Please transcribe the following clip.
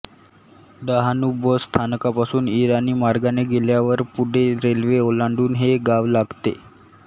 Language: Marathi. डहाणू बस स्थानकापासून ईराणी मार्गाने गेल्यावर पुढे रेल्वे ओलांडून हे गाव लागते